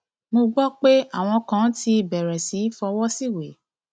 mo gbọ pé àwọn kan ti ti bẹrẹ sí í fọwọ síwèé